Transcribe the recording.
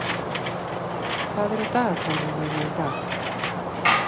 Ásný, hvað er á dagatalinu mínu í dag?